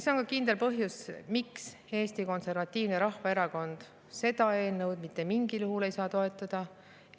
See on ka kindel põhjus, miks Eesti Konservatiivne Rahvaerakond seda eelnõu mitte mingil juhul ei saa toetada.